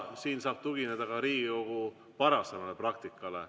Siin saab tugineda ka Riigikogu varasemale praktikale.